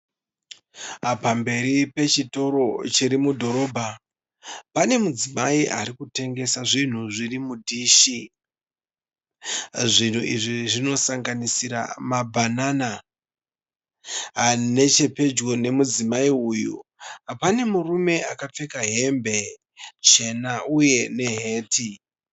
Pamberi pechitoro chiri mudhorobha Pane mudzimai ari kutengesa zvinhu zviri mudhishi . Zvinhu izvi zvinosanganisira mabanana. Nechepedyo nemudzimai uyu pane murume akapfeka hembe chena uye neheti.